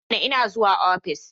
I mana! Ina zuwa ofis.